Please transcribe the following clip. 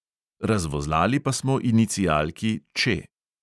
Razvozlali pa smo inicialki Č.